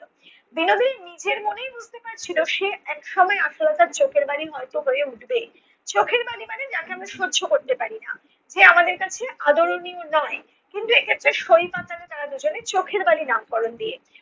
বিনোদিনী নিজের মনেই বুঝতে পারছিলো সে একসময় আশালতার চোখের বালি হয়ত হয়ে উঠবে। চোখের বালি মানে যাকে আমরা সহ্য করতে পারি না। যে আমাদের কাছে আদরনীয় নয়। কিন্তু এইক্ষেত্রে সই পাতালো তারা দুজনে চোখের বালি নামকরণ দিয়ে